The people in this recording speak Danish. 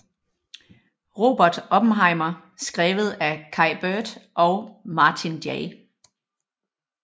Robert Oppenheimer skrevet af Kai Bird og Martin J